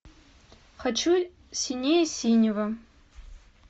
хочу синее синего